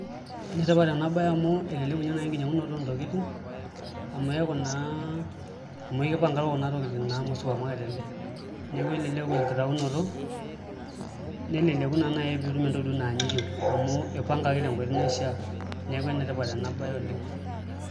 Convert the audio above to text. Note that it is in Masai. Enetipata enabaye amu eleleku naai ninye enkinyiang'unoto oontokiti amu eeku naa amu ekipangaro kuna tokiting' amu supermarket ele neeku elelek enkitaunoto neleleku naa naai pee itum entoki naa ninye iyieu amu ipangaki tenkoitoi naishiaa neeku enetipat enabaye oleng'.